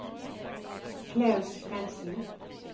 Klaus Svensen